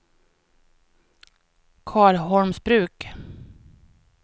Karlholmsbruk